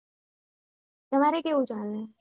તમારે કેવું ચાલે?